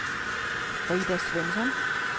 Frida Svensson